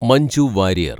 Manju Warrier‍